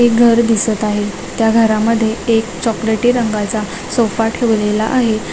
एक घर दिसत आहे त्या घरामध्ये एक चॉकलेटी रंगाचा सोफा ठेवलेला आहे.